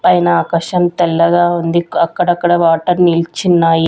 పైన ఆకాశం తెల్లగా ఉంది అక్కడక్కడ వాటర్ నిల్చిన్నాయి.